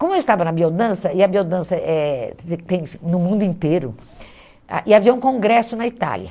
Como eu estava na biodança, e a biodança eh tem tem tem no mundo inteiro, ah e havia um congresso na Itália.